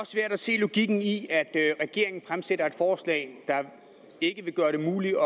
svært at se logikken i at regeringen fremsætter et forslag der ikke vil gøre det muligt